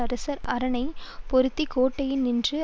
அரசர் அரணைப் பொருந்தி கோட்டையினை நின்று